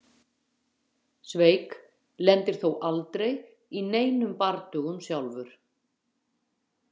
Svejk lendir þó aldrei í neinum bardögum sjálfur.